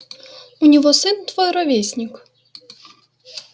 у него сын твой ровесник